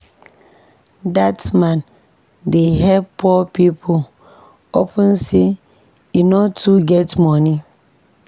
Dat man dey help poor pipo upon sey e no too get moni.